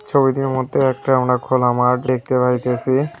ছবিটির মধ্যে একটি আমার খোলা মাঠ দেখতে পাইতেছি।